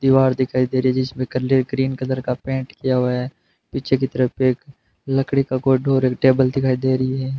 दीवार दिखाई दे रही जिसमें कल्ले ग्रीन कलर का पेंट किया हुआ है पीछे की तरफ एक लकड़ी का कोई डोर और टेबल दिखाई दे रही है।